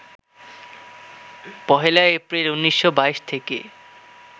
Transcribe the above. ১লা এপ্রিল, ১৯২২ থেকে